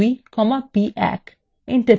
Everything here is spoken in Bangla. enter টিপুন